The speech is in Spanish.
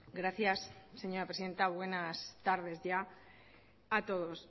gracias señora presidenta buenas tardes ya a todos